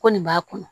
Ko nin b'a kɔnɔ